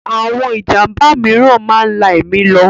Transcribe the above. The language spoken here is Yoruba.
Àwon Ìjàmba mìíràn máa ń lá èmi lọ